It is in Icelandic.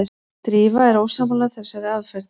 Drífa er ósammála þessari aðferð.